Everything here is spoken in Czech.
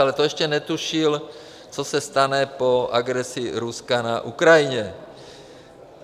Ale to ještě netušil, co se stane po agresi Ruska na Ukrajině.